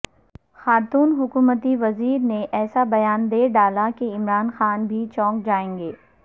خاتون حکومتی وزیر نے ایسا بیان دے ڈالا کہ عمران خان بھی چونک جائیں گے